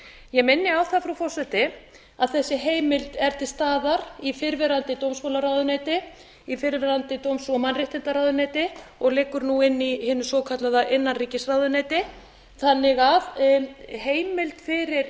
ég minni á það frú forseti að þessi heimild er til staðar í fyrrverandi dómsmálaráðuneyti í fyrrverandi dóms og mannréttindaráðuneyti og liggur nú inni í hinu svokallaða innanríkisráðuneyti þannig að heimild fyrir